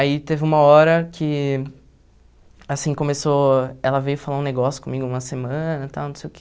Aí teve uma hora que assim começou ela veio falar um negócio comigo, uma semana e tal, não sei o quê.